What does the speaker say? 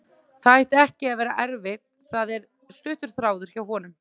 Það ætti ekki að vera erfitt, það er stuttur þráðurinn hjá honum.